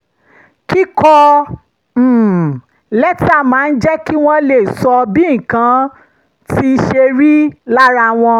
kíkọ um lẹ́tà máa ń jẹ́ kí wọ́n lè sọ bí nǹkan um ṣe rí lára wọn